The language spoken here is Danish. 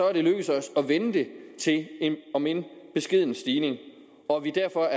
er det lykkedes os at vende det til en om end beskeden stigning og at vi derfor